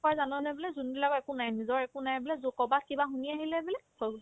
জাননে বোলে যোনবিলাকৰ একো নাই নিজৰ একো নাই বোলে লোকৰ পাই কিবা শুনি আহিলে বোলে হৈ গ'ল